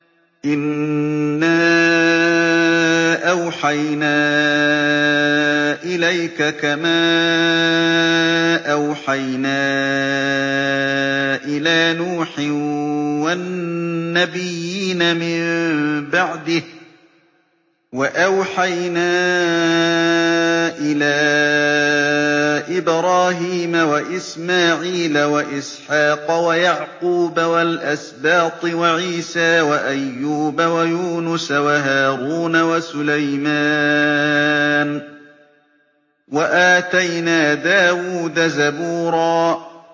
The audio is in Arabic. ۞ إِنَّا أَوْحَيْنَا إِلَيْكَ كَمَا أَوْحَيْنَا إِلَىٰ نُوحٍ وَالنَّبِيِّينَ مِن بَعْدِهِ ۚ وَأَوْحَيْنَا إِلَىٰ إِبْرَاهِيمَ وَإِسْمَاعِيلَ وَإِسْحَاقَ وَيَعْقُوبَ وَالْأَسْبَاطِ وَعِيسَىٰ وَأَيُّوبَ وَيُونُسَ وَهَارُونَ وَسُلَيْمَانَ ۚ وَآتَيْنَا دَاوُودَ زَبُورًا